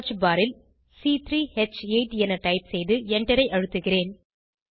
search bar ல் c3ஹ்8 என டைப் செய்து Enter ஐ அழுத்துகிறேன்